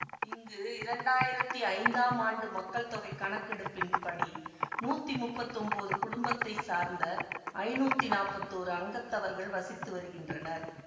இங்கு இரண்டாயிரத்தி ஐந்தாம் ஆண்டு மக்கள் தொகை கணக்கெடுப்பின்படி நூத்தி முப்பத்தொன்போது குடும்பத்தை சேர்ந்த ஐநூத்தி நாப்பத்தோரு அங்கத்தவர்கள் வசித்து வருகின்றனர்